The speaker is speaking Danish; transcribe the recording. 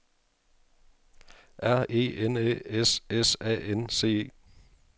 R E N Æ S S A N C E